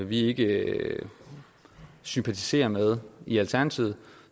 vi ikke sympatiserer med i alternativet